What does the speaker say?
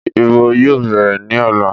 Ìbò yóò bẹ̀rẹ̀ ní ọ̀la.